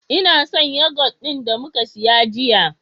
Ina son yoghurt ɗin da muka siya jiya.